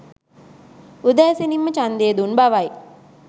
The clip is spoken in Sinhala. උදෑසනින්ම ඡන්දය දුන් බවයි